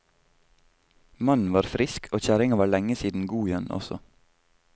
Mannen var frisk, og kjerringa var lenge siden god igjen også.